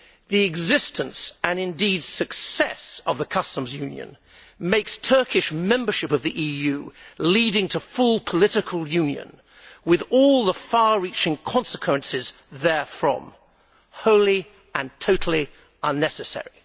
The existence, and indeed success, of the customs union makes Turkish membership of the EU, leading to full political union with all the far reaching consequences that follow therefrom wholly and totally unnecessary.